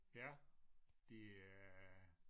Ja de er